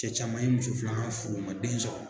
Cɛ caman ye muso fila furu u ma den sɔrɔ